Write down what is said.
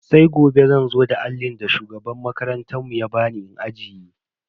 Sai gobe zan zo da allin da shugaban makarantar mu ba bani in ajiye.